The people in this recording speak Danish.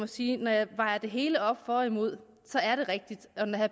sige at når jeg vejer det hele op for og imod så er det rigtigt og når herre